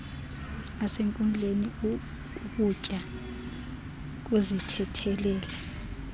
nasenkundleni ukya kuzithethelela